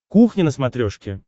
кухня на смотрешке